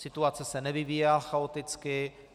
Situace se nevyvíjela chaoticky.